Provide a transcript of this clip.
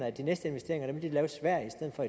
at de næste investeringer vil de lave i sverige i stedet for